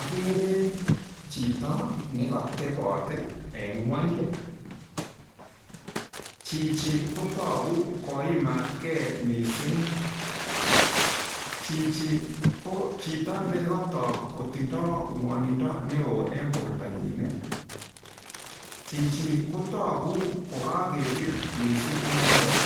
Akere chito nekatebot eng ng'ony. Chichi kotogu koimatgei mising. Chichi ko chito nekatok kotindoi ng'wonindo neo eng bortanyi. Chichi kotogu kokakepir mising inendet.